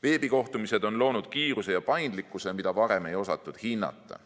Veebikohtumised on loonud kiiruse ja paindlikkuse, mida varem ei osatud hinnata.